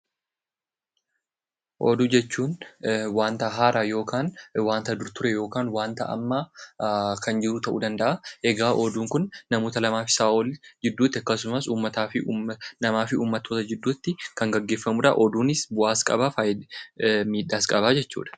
Oduu jechuun waanta haaraa yookaan waanta dur ture, kan jiru ta'uu danda'a, Oduun Kun namoota lamaa fi isaa ol akkasumas hawaasa fi hawaasa gidduutti , namaa fi uummattoota gidduutti kan gaggeeffamudha. Oduun bu'aas qabaa, miidhaas qaba.